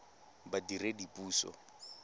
badiredipuso